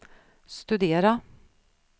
studera